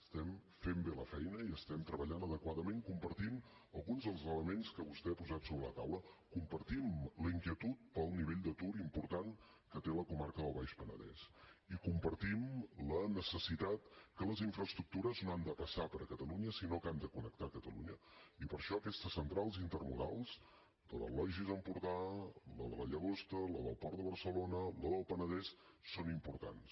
estem fent bé la feina i estem treballant adequadament compartint alguns dels elements que vostè ha posat sobre la taula compartim la inquietud pel nivell d’atur important que té la comarca del baix penedès i compartim la necessitat que les infraestructures no han de passar per catalunya sinó que han de connectar catalunya i per això aquestes centrals intermodals tant la logis empordà la de la llagosta la del port de barcelona la del penedès són importants